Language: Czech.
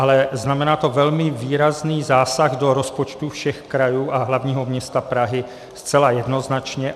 Ale znamená to velmi výrazný zásah do rozpočtů všech krajů a hlavního města Prahy zcela jednoznačně.